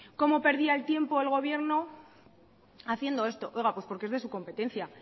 cómo perdía tiempo el gobierno haciendo esto oiga pues porque es de su competencia